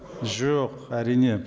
жоқ әрине